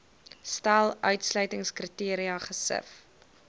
stel uitsluitingskriteria gesif